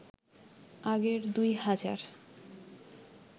আগের ২ হাজার